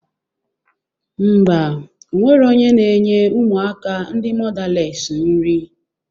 Mba, onwero onye na-enye ụmụaka ndị mọdales nri